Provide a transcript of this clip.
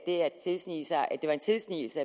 det var en tilsnigelse